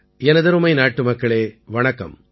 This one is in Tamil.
எனதருமை நாட்டுமக்களே வணக்கம்